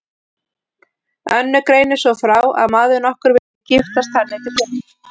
Önnur greinir svo frá að maður nokkur vildi giftast henni til fjár.